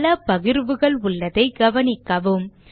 பல பகிர்வுகள் உள்ளதை கவனிக்கவும்